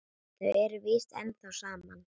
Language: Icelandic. Þau eru víst ennþá saman.